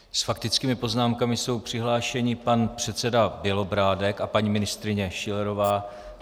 S faktickými poznámkami jsou přihlášeni pan předseda Bělobrádek a paní ministryně Schillerová.